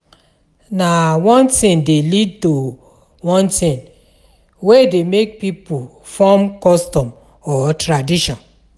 Na one thing de lead to one thing wey de make pipo form custom or tradition